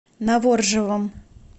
новоржевом